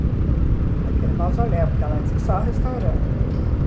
Uhum... Naquele mausoléu, porque ela diz que só restaurando, uhum.